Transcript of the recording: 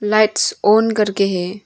Lights on करके है।